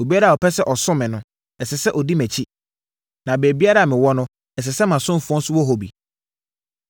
Obiara a ɔpɛ sɛ ɔsom me no, ɛsɛ sɛ ɔdi mʼakyi, na baabiara a mewɔ no, ɛsɛ sɛ mʼasomfoɔ nso wɔ hɔ bi.”